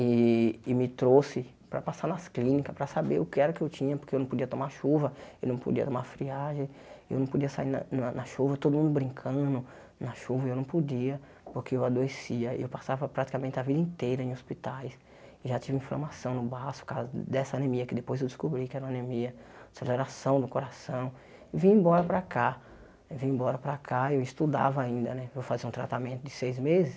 e e me trouxe para passar nas clínicas, para saber o que era que eu tinha, porque eu não podia tomar chuva, eu não podia tomar friagem, eu não podia sair na na chuva, todo mundo brincando na chuva, e eu não podia, porque eu adoecia, eu passava praticamente a vida inteira em hospitais, já tive inflamação no baço por causa dessa anemia, que depois eu descobri que era uma anemia aceleração do coração, vim embora para cá, vim embora para cá, eu estudava ainda, né, para fazer um tratamento de seis meses,